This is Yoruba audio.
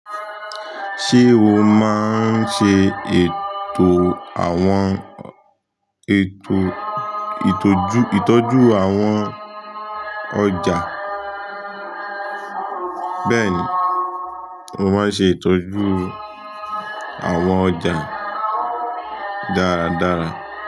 Ṣé o máa ń ṣe ètò àwọn ètò ìtọ́jú, ìtọ́jú àwọn ọjà? Bẹ́ẹ̀ni, mo máa ń ṣe ìtọ́jú àwọn ọjà dáradára.